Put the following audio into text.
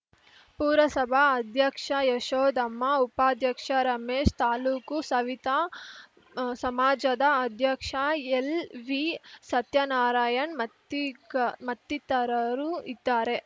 ಪುರಸಭಾ ಅಧ್ಯಕ್ಷ ಯಶೋದಮ್ಮ ಉಪಾಧ್ಯಕ್ಷ ರಮೇಶ್‌ ತಾಲೂಕು ಸವಿತಾ ಸಮಾಜದ ಅಧ್ಯಕ್ಷ ಎಲ್‌ವಿ ಸತ್ಯನಾರಾಯಣ್‌ ಮತ್ತಿಕ ಮತ್ತಿತರರು ಇದ್ದಾರೆ